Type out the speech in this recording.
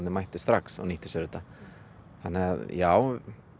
mættu strax og nýttu sér þetta þannig að já